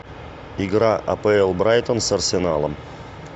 игра апл брайтон с арсеналом